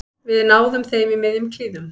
Við náðum þeim í miðjum klíðum